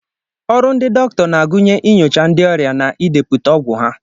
Ọrụ ndị dọkịta na-agụnye inyocha ndị ọrịa na idepụta ọgwụ ha